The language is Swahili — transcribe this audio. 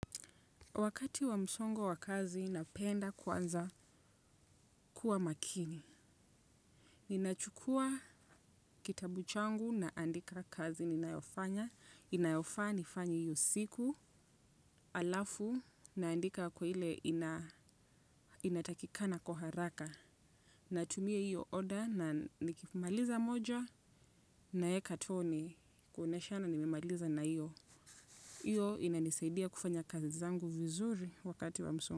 Wakati wa msongo wa kazi napenda kwanza kuwa makini. Ninachukua kitabu changu na andika kazi ninayofanya. Inayofaa nifanye hiyo siku alafu naandika kwa ile inatakikana kwa haraka. Natumie hiyo oda na nikimaliza moja nawekatoni. Kuonyeshana nimemaliza na hiyo. Hiyo inanisaidia kufanya kazi zangu vizuri wakati wa msongo.